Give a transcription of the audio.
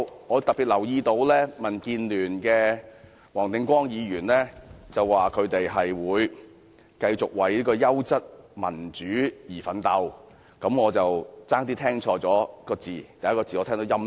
我特別留意到，民建聯的黃定光議員說他們會繼續為優質民主而奮鬥，我差點兒把"優質"聽錯為"陰質"。